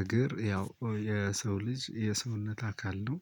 እግር ያው ያው የሰው ልጅ የሰውነት አካል ነው።